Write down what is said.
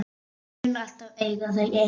Mun alltaf eiga þau ein.